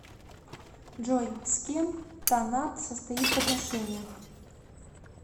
джой с кем танат состоит в отношениях